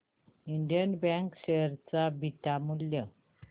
Indian bank share चे beta मूल्य